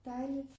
Dejligt